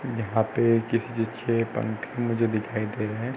यहाँ पे किसी के छे पंखे मुझे दिखाई दे रहे है।